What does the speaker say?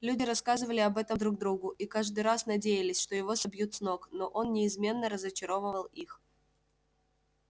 люди рассказывали об этом друг другу и каждый раз надеялись что его собьют с ног но он неизменно разочаровывал их